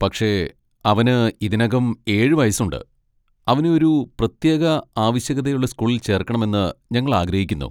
പക്ഷേ, അവന് ഇതിനകം ഏഴ് വയസ്സുണ്ട്, അവനെ ഒരു പ്രത്യേക ആവശ്യകതയുള്ള സ്കൂളിൽ ചേർക്കണമെന്ന് ഞങ്ങൾ ആഗ്രഹിക്കുന്നു.